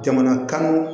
Jamana kanu